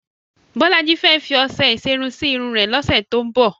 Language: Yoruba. Bọ́lájí fẹ́ fi ọṣẹ ìṣerun sí irun rẹ̀ lọ́sẹ̀ tó ń bọ̀.